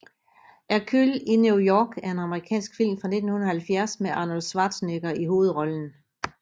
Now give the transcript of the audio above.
Hercules i New York er en amerikansk film fra 1970 med Arnold Schwarzenegger i hovedrollen